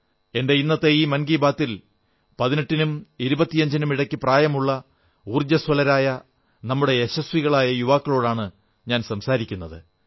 എന്റെ ഇന്നത്തെ ഈ മൻ കീ ബാത്തിൽ 18 നും 25 നും ഇടയ്ക്കു പ്രായമുള്ള ഊർജ്ജസ്വലരായ നമ്മുടെ യശസ്വികളായ യുവാക്കളോടാണ് സംസാരിക്കുന്നത്